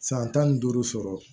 San tan ni duuru sɔrɔ